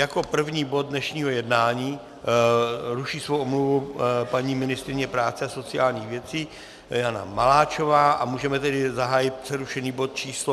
Jako první bod dnešního jednání - ruší svou omluvu paní ministryně práce a sociálních věcí Jana Maláčová - a můžeme tedy zahájit přerušený bod číslo